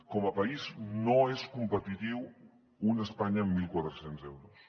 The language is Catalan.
com a país no és competitiu una espanya amb mil quatre cents euros